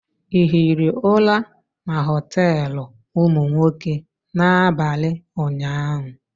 ị hiri ụra na hostelụ ụmụ nwoke n'abalị ụnyaahụ?